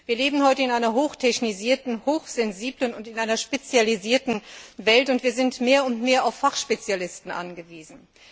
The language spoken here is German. Wir leben heute in einer hoch technisierten, hochsensiblen und spezialisierten Welt, und wir sind mehr und mehr auf Fachspezialisten angewiesen.